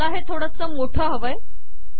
मला हे थोडे मोठे हवे आहेत